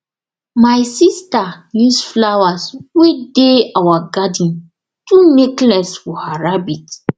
my sister use flowers wey dey our garden do necklace for her rabbit